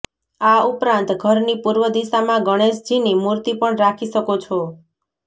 આ ઉપરાંત ઘરની પૂર્વ દિશામાં ગણેશજીની મૂર્તિ પણ રાખી શકો છો